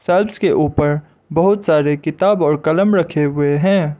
Shelves के ऊपर बहुत सारे किताब और कलम रखे हुए हैं।